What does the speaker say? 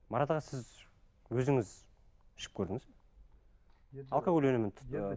марат аға сіз өзіңіз ішіп көрдіңіз бе алкоголь өнімін ы